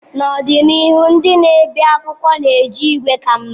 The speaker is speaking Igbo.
N'ọdịnihu, ndị na-ebi akwụkwọ ga-eji igwe ka mma.